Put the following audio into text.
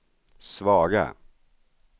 svaga